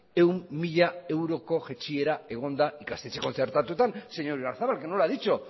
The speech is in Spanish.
cien mil euroko jaitsiera egon da ikastetxe kontzertatuetan señor oyarzabal que no lo ha dicho